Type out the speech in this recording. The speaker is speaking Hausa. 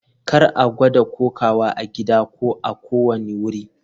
Kar a gwada kokawa a gida ko a kowane wuri.